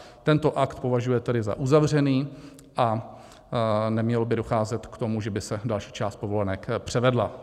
Tento akt považuje tedy za uzavřený a nemělo by docházet k tomu, že by se další část povolenek převedla.